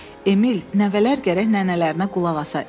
Emil, nəvələr gərək nənələrinə qulaq asa.